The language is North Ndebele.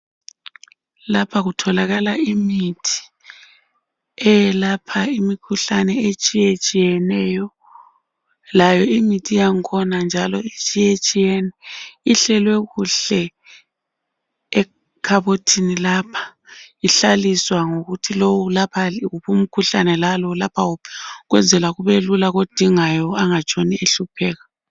Lapha kutholakala imithi eyelapha imikhuhlane etshiyetshiyeneyo, layo imithi yakhona njalo itshiyetshiyene. Ihlelwe kuhle ekhabothini lapha, ihlaliswa ngokuthi lo ulapha wuphi umkhuhlane, lalo ulapha wuphi, ukwenzela lowo kodingayo angatshoni ehlupheka.